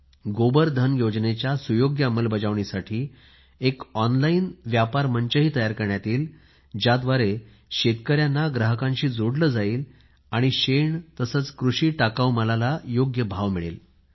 गोबर धन योजनेच्या सुयोग्य अंमलबजावणी साठी एक ऑन लाईन मंच तयार करण्यात येईल ज्या द्वारे शेतकऱ्यांना ग्राहकाशी जोडले जाईल आणि त्याला शेणाला आणि कृषी टाकाऊ मालाला योग्य भाव मिळेल